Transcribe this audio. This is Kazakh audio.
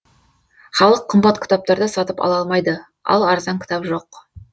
халық қымбат кітаптарды сатып ала алмайды ал арзан кітап жоқ